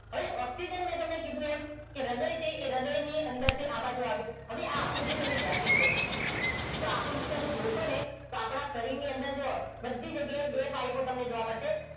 હવે ઓક્સિજન મેં તમને કીધું એમ હ્રદય છે એ હ્રદય ની અંદર થીઆ બાજુ આવે હવે આ આકૃતિ તમે ધ્યાન જોવો આ આકૃતિ તમે જોશો ને આપણા શરીર ની અંદર જો બધી જગ્યા એ બે પાઇપ તમને જોવા મળશે